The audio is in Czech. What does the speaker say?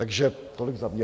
Takže tolik za mě.